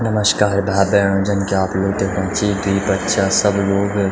नमस्कार भाई-भेणाे जन की आप लोग देखणा छ की द्वि बच्चा सब लोग --